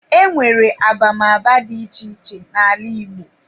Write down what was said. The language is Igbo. E nwere abamaba dị iche iche n'ala Igbo.